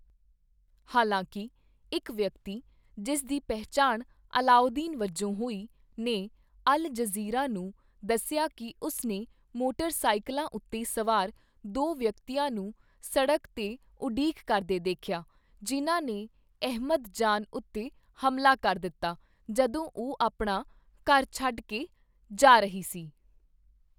ਹਾਲਾਂਕਿ, ਇੱਕ ਵਿਅਕਤੀ, ਜਿਸ ਦੀ ਪਹਿਚਾਣ ਅਲਾਉਦੀਨ ਵਜੋਂ ਹੋਈ, ਨੇ ਅਲ ਜਜ਼ੀਰਾ ਨੂੰ ਦੱਸਿਆ ਕਿ ਉਸ ਨੇ ਮੋਟਰ-ਸਾਈਕਲਾਂ ਉੱਤੇ ਸਵਾਰ ਦੋ ਵਿਅਕਤੀਆਂ ਨੂੰ ਸੜਕ 'ਤੇ ਉਡੀਕ ਕਰਦੇ ਦੇਖਿਆ, ਜਿਨ੍ਹਾਂ ਨੇ ਅਹਿਮਦ ਜਾਨ ਉੱਤੇ ਹਮਲਾ ਕਰ ਦਿੱਤਾ ਜਦੋਂ ਉਹ ਆਪਣਾ ਘਰ ਛੱਡ ਕੇ ਜਾ ਰਹੀ ਸੀ।